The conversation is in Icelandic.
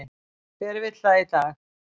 Hver vill það í dag?